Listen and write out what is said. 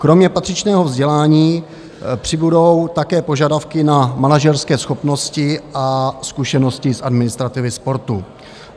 Kromě patřičného vzdělání přibudou také požadavky na manažerské schopnosti a zkušenosti z administrativy sportu.